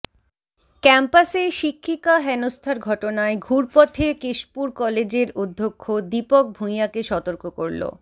ক্যাম্পাসে শিক্ষিকা হেনস্থার ঘটনায় ঘুরপথে কেশপুর কলেজের অধ্যক্ষ দীপক ভুঁইয়াকে সতর্ক করল